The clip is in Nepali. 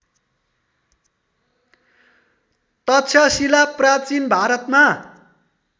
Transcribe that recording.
तक्षशिला प्राचीन भारतमा